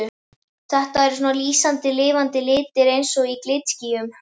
Þetta eru svona lýsandi lifandi litir eins og í glitskýjum.